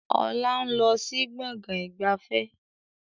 Ọlá ń lọ sí Gbọ̀ngán ìgbafẹ́